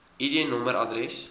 id nommer adres